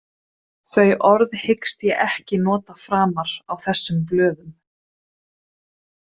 Þau orð hyggst ég ekki nota framar á þessum blöðum.